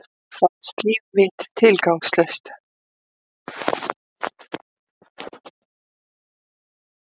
Fannst líf mitt tilgangslaust.